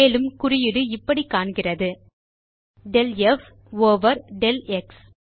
மேலும் குறியீடு இப்படி காண்கிறது del ப் ஓவர் del எக்ஸ்